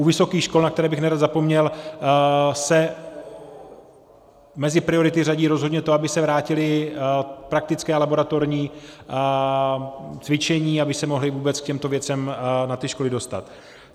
U vysokých škol, na které bych nerad zapomněl, se mezi priority řadí rozhodně to, aby se vrátila praktická a laboratorní cvičení, aby se mohli vůbec k těmto věcem na té škole dostat.